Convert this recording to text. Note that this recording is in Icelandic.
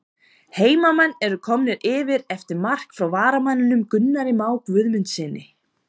HEIMAMENN ERU KOMNIR YFIR EFTIR MARK FRÁ VARAMANNINUM GUNNARI MÁ GUÐMUNDSSYNI!!